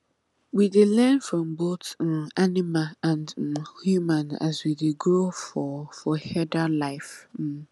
we dey learn from both um animal and um human as we dey grow for for herder life um